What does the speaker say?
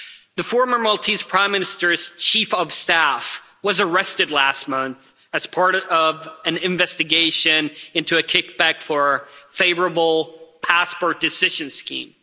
The former Maltese Prime Minister's Chief of Staff was arrested last month as part of an investigation into a kickback for a favourable passport decision scheme.